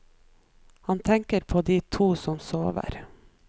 Han tenker på de to som sover.